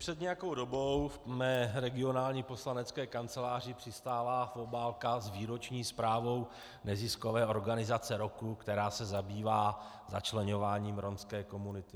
Před nějakou dobou v mé regionální poslanecké kanceláři přistála obálka s výroční zprávou neziskové organizace roku, která se zabývá začleňováním rómské komunity.